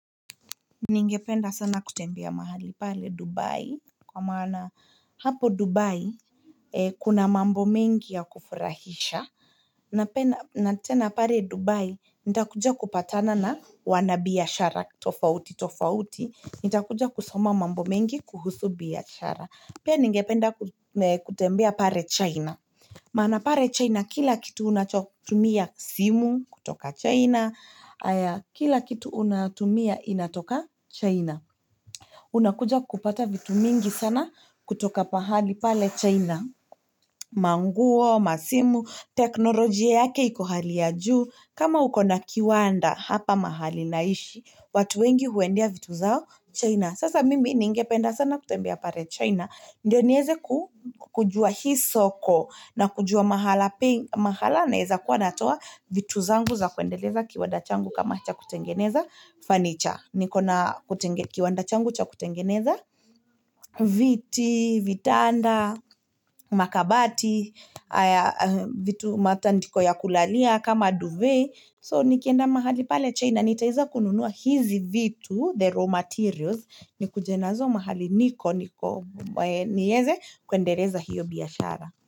Ningependa sana kutembea mahali pale Dubai kwa maana hapo Dubai kuna mambo mengi ya kufurahisha Natena pare Dubai nitakuja kupatana na wanabiyashara tofauti tofauti nitakuja kusoma mambo mengi kuhusubiashara Pia nyingependa kutembea pare China Mana pare China, kila kitu unachotumia simu kutoka China, aya kila kitu unatumia inatoka China. Unakuja kupata vitu mingi sana kutoka pahali pale China. Manguo, masimu, teknolojia yake ikohali ya juu, kama ukona kiwanda hapa mahali naishi, watu wengi huendea vitu zao China. Sasa mimi ni ingependa sana kutembea pare China. Ndyo nieze kujua hisoko na kujua mahala naeza kuwa natuwa vitu zangu za kuendeleza kiwanda changu kama cha kutengeneza fanicha. Nikona kutengekiwanda changu cha kutengeneza viti, vitanda, makabati, vitu matandiko ya kulalia kama duvet. So nikienda mahali pale China, nitaeza kununua hizi vitu, the raw materials, nikujenazo mahali niko, niko, nieze, kwendereza hiyo biyashara.